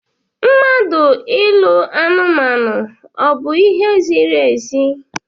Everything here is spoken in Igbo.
Mmadụ ịlụ anumanu ọ bu ihe ziri ezi?